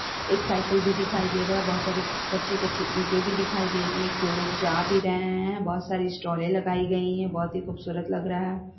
एक साइकिल भी दिखाई दे रहा है बहुत सारी कच्ची- कच्ची इटे भी दिखाई दे रही है एक दो लोग जा भी रे है बहुत सारी स्टॉल लगाई गई है बहुत ही खूबसूरत लग रहा है ।